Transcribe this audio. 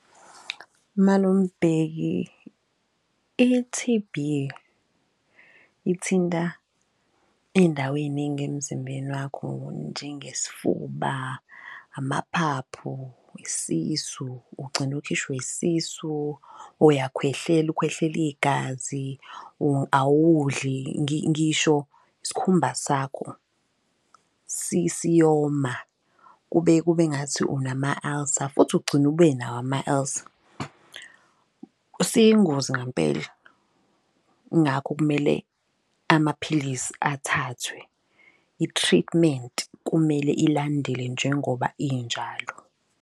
Malume uBheki i-T_B ithinta iy'ndawo ey'ningi emzimbeni wakho njenge sifuba, amaphaphu, isisu ugcine ukhishwe isisu. Uyakhwehlela, ukhwehleli igazi awudli ngisho sikhumba sakho siyoma kube ngathi unama-ulcer futhi ugcine ube nawo ama-ulcer. Siyingozi ngampela ingakho kumele amaphilisi athathwe, i-treatment kumele ilandele njengoba injalo.